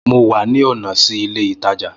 Mo wà ní ònà sí ilé ìtajà